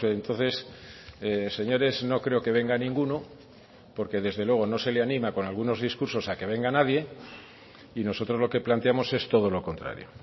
entonces señores no creo que venga ninguno porque desde luego no se le anima con algunos discursos a que venga nadie y nosotros lo que planteamos es todo lo contrario